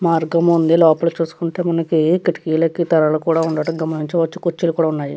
మార్గము ఉంది. లోపల చూసుకుంటే మనకి కిటికీలకు తెరలు కూడా ఉండడం గమనించవచ్చు. కుర్చీలు కూడా ఉన్నాయి.